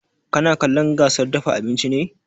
Kana kallon gasar dafa abinci ne?